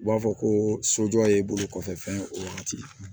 U b'a fɔ ko sojɔ ye i bolo kɔfɛ fɛn ye o wagati